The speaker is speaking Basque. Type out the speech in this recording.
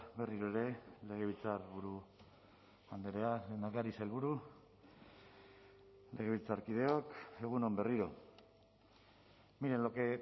berriro ere legebiltzarburu andrea lehendakari sailburu legebiltzarkideok egun on berriro miren lo que